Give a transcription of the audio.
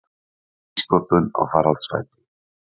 Nýsköpun á faraldsfæti